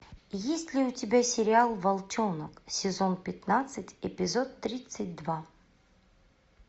есть ли у тебя сериал волчонок сезон пятнадцать эпизод тридцать два